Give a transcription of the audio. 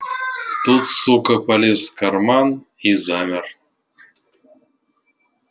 тут сука полез в карман и замер